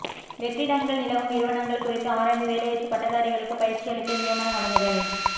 வெற்றிடங்கள் நிலவும் நிறுவனங்கள் குறித்து ஆராய்ந்து வேலையற்ற பட்டதாரிகளுக்கு பயிற்சியளித்து நியமனம் வழங்குதல்